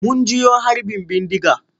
Mun jiyo harbin bindiga.